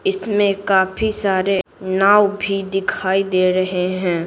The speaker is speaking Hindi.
इसमें काफी सारे नाव भी दिखाई दे रहे हैं।